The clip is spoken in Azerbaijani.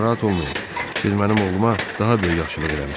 Narahat olmayın, siz mənim oğluma daha böyük yaxşılıq eləmisiz.